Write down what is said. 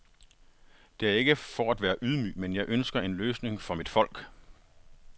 Det er ikke for at være ydmyg, men jeg ønsker en løsning for mit folk.